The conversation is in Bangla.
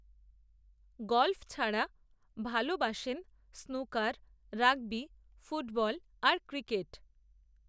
গলফ, ছাড়া, ভালবাসেন স্নুকার, রাগবি, ফুটবল, আর ক্রিকেট